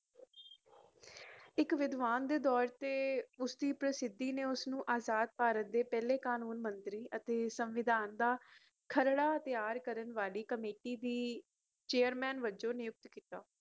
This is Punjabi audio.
ਇਕ ਵਿਦਵਾਨ ਦੇ ਤੌਰ ਤੇ ਉਸਦੀ ਪ੍ਰਸਿੱਧੀ ਨੇ ਉਸਨੂੰ ਅਜ਼ਾਦ ਭਾਰਤ ਦੇ ਪਹਿਲੇ ਕਾਨੂੰਨ ਮੰਤਰੀ ਅਤੇ ਸੰਵਿਧਾਨ ਦਾ ਖਰੜਾ ਤਿਆਰ ਕਰਨ ਵਾਲੀ ਕਮੇਟੀ ਦੀ Chairman ਵਜੋਂ ਨਿਯੁਕਤ ਕੀਤਾ